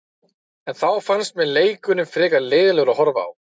En þá fannst mér leikurinn frekar leiðinlegur að horfa á.